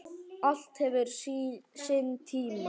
Allt hefur sinn tíma.